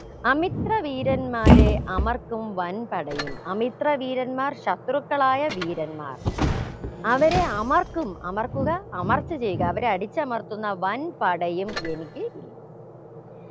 അമിത്ര വീരന്മാരെ അമർക്കും വൻ പടയും അമിത്ര വീരന്മാർ ശത്രുക്കളായ വീരന്മാർ അവരെ അമർക്കും അമർക്കുക അമർച്ച ചെയ്യുക അവരെ അടിച്ചമർത്തുന്ന വൻ പടയും എനിക്ക് ഇല്ല